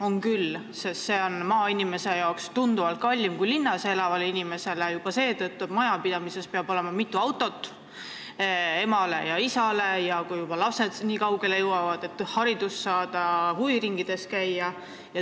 On küll, sest see on maainimese jaoks tunduvalt kallim kui linnas elavale inimesele, juba seetõttu, et majapidamises peab olema mitu autot: emale ja isale, kes peavad ehk ka lapsi kooli ja huviringidesse vedama.